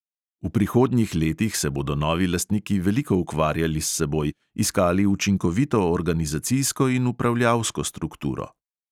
V prihodnjih letih se bodo novi lastniki veliko ukvarjali s seboj, iskali učinkovito organizacijsko in upravljalsko strukturo.